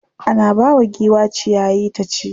Ana bawa giwa ciyayi ta ci.